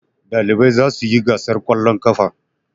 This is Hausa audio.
Ɗalibai za su yi gasar ƙwallon ƙafa.